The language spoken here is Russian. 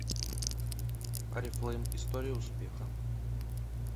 орифлейм история успеха